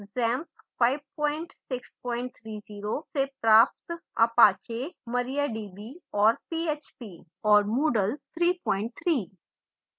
xampp 5630 से प्राप्त apache mariadb और php और moodle 33